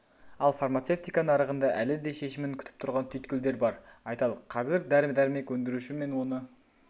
ал фармацевтика нарығында әлі де шешімін күтіп тұрған түйткілдер бар айталық қазір дәрі-дәрмек өндіруші мен оны